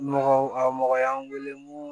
Nɔgɔ a mɔgɔ y'an weele n ko